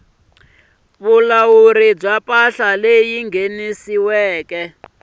vulawuri bya mpahla leyi nghenisiwaku